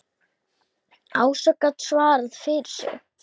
Ása gat svarað fyrir sig.